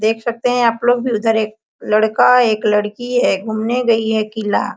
देख सकते है आप लोग भी उधर एक लड़का एक लड़की है घुमने गयी है किला।